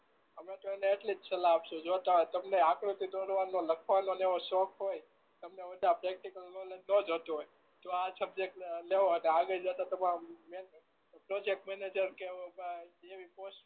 અમે તો એને એટલી જ સલાહ આપશું જો તમને આકૃતિ દોરવાનો લખવાનો ને એવો શોખ હોય તમને પ્રેક્ટીકલ નોલેજ તો તમને જ આ સબ્જેક્ટ લેવો પ્રોજેક્ટ મેનેજર કે કા એવી પોસ્ટ